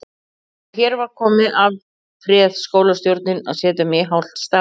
Þegar hér var komið afréð skólastjórnin að setja mig í hálft starf.